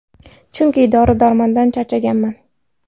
Chunki dori-darmondan charchaganman”.